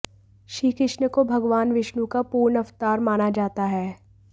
श्रीकृष्ण को भगवान विष्णु का पूर्ण अवतार माना जाता है